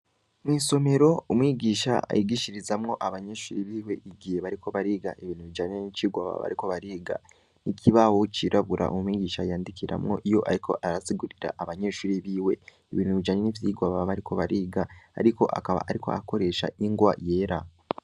Mw'isomero ,umwigisha yigishirizamwo abanyeshuri biwe igihe bariko bariga ibintu bijanye n'icirwa baba bariko bariga, ikibaho cirabura umwigisha yandikiramwo iyo ariko arasigurira abanyeshuri biwe, ibintu bijanye n'ivyirwa baba bariko bariga, ariko akaba ariko arakoresha ingwa yera.